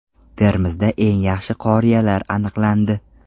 Termizda eng yaxshi qoriyalar aniqlandi.